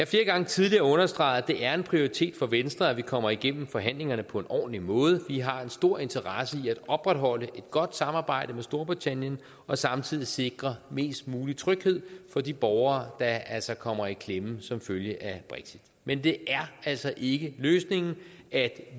flere gange tidligere understreget at det er en prioritet for venstre at vi kommer igennem forhandlingerne på en ordentlig måde vi har en stor interesse i at opretholde et godt samarbejde med storbritannien og samtidig sikre mest mulig tryghed for de borgere der altså kommer i klemme som følge af brexit men det er altså ikke løsningen at